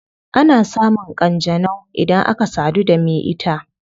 Ana samun kanjanau idan aka sadu da me ita